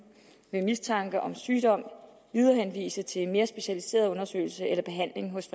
ved mistanke om sygdom viderehenvise til en mere specialiseret undersøgelse eller behandling hos